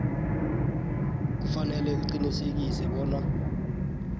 kufanele uqinisekise bona